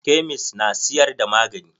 Kemist na siyar da magani.